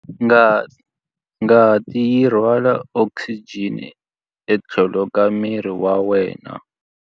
Ngati yi rhwala okisijeni etlhelo ka miri wa wena.